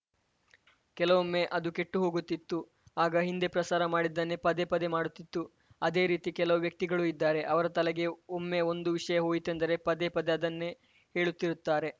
ಕೆಲವೊಮ್ಮೆ ಅದು ಕೆಟ್ಟು ಹೋಗುತ್ತಿತ್ತು ಆಗ ಹಿಂದೆ ಪ್ರಸಾರ ಮಾಡಿದ್ದನ್ನೇ ಪದೇ ಪದೇ ಮಾಡುತ್ತಿತ್ತು ಅದೇ ರೀತಿ ಕೆಲವು ವ್ಯಕ್ತಿಗಳೂ ಇದ್ದಾರೆ ಅವರ ತಲೆಗೆ ಒಮ್ಮೆ ಒಂದು ವಿಷಯ ಹೋಯಿತೆಂದರೆ ಪದೇ ಪದೇ ಅದನ್ನೇ ಹೇಳುತ್ತಿರುತ್ತಾರೆ